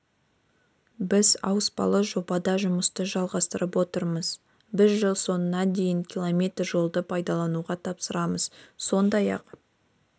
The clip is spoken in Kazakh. біз ауыспалы жобада жұмысты жалғастырып отырмыз біз жыл соңына дейін км жолды пайдалануға тапсырамыз сондай-ақ